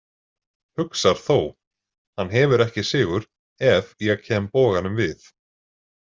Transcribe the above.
Hugsar þó: hann hefur ekki sigur ef ég kem boganum við.